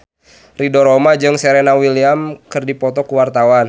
Ridho Roma jeung Serena Williams keur dipoto ku wartawan